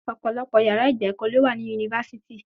Ọ̀pọ̀lọpọ̀ yàrá ìgba ẹ̀kọ́ ló wà ní yunifásítì.